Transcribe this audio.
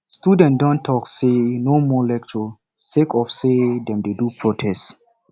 students don tok sey no more lecture sake of sey dem dey do protest